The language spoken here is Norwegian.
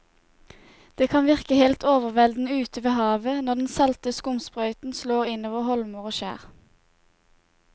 Det kan virke helt overveldende ute ved havet når den salte skumsprøyten slår innover holmer og skjær.